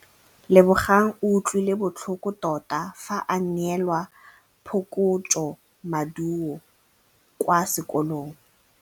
Lebogang o utlwile botlhoko tota fa a neelwa phokotsômaduô kwa sekolong.